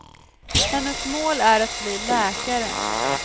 Hennes mål är att bli läkare.